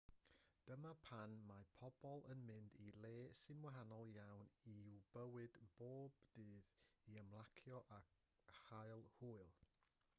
dyma pan mae pobl yn mynd i le sy'n wahanol iawn i'w bywyd bob dydd i ymlacio a chael hwyl